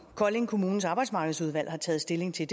kolding kommunes arbejdsmarkedsudvalg har taget stilling til